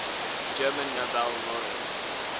german nobel laureates